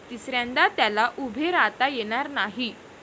तिसऱ्यांदा त्याला उभे राहता येणार नाही.